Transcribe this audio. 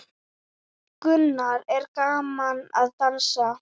Gunnar: Er gaman að dansa?